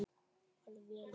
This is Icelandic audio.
Farðu vel, vinur.